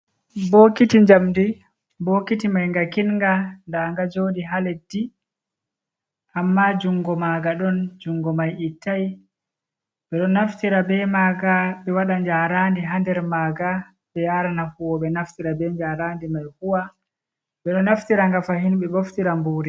Bookiti njamdi. Bootiki may nga kiiɗnga, daa nga njooɗi haa leddi, ammaa junngo maaga ɗon, junngo may ittaay. Ɓe ɗo naftira bee maaga ɓe waɗa njaaraandi haa nder maaga ɓe njaarana huuwooɓe naftira bee njaaraandi may huwa. Ɓe ɗo naftira nga fahin ɓe ɓoftira mbuuri.